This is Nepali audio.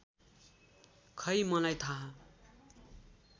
खै मलाई थाह